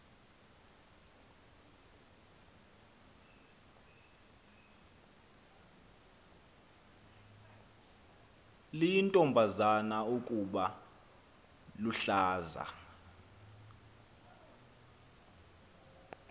liyintombazana ukuba luhlaza